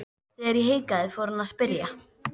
Þegar ég hikaði fór hann að spyrja.